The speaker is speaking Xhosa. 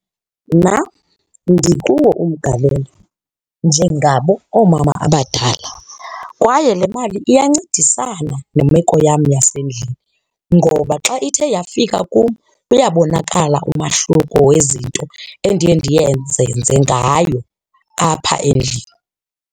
Nam ndikuwo umgalelo njengabo oomama abadala kwaye le mali iyancedisana nemeko yam yasendlini ngoba xa ithe yafika kum uyabonakala umahluko wezinto endiye ndiyenze, ndizenze ngayo apha endlini.